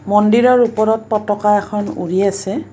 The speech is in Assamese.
মন্দিৰৰ ওপৰত পতকা এখন উৰি আছে।